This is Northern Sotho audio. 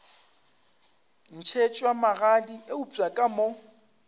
ntšhetšwa magadi eupša ka mo